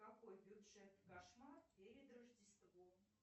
какой бюджет кошмар перед рождеством